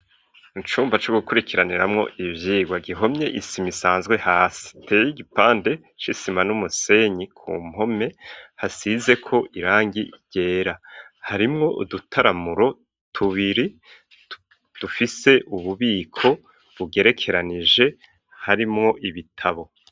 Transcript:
Icumba co gukurikiraniramwo ivyigwa, gihomye isima isanzwe hasi teye igipande c'isima n'umusenyi ku mpome hasizeko irangi ryera harimwo udutaramuro tubiri dufise ububiko bugerekeranije harimwo ibitabo.